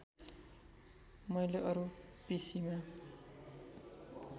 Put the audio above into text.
मैले अरू पिसिमा